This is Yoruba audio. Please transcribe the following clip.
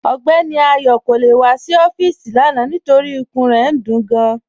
Ọgbẹni Ayo kò le wà sí ọfiisi lána nítorí ìkùn rẹ̀ ń dún ú gáàn